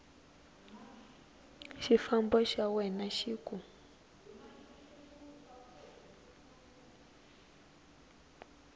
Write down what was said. xifambo xa wena xi ku